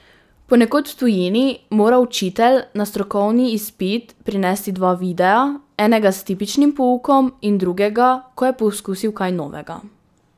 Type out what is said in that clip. Ponekod v tujini mora učitelj na strokovni izpit prinesti dva videa, enega s tipičnim poukom in drugega, ko je poskusil kaj novega.